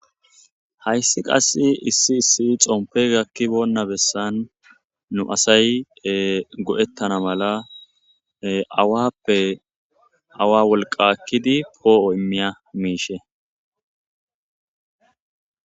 hayssi qassi issi issi xompegakki boonna bessan nu asay go7ettana mala awappe awa wolqakkidi poo7o immiya miishe